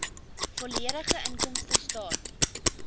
volledige inkomstestaat